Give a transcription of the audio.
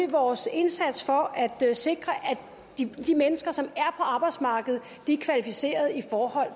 vores indsats for at sikre at de mennesker som er på arbejdsmarkedet er kvalificeret i forhold